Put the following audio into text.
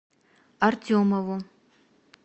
артемову